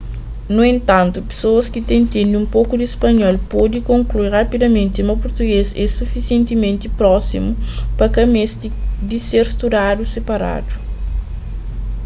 nu entantu pesoas ki ta intende un poku di spanhol pode konklui rapidamenti ma português é sufisientementi prósimu pa ka meste di ser studadu siparadu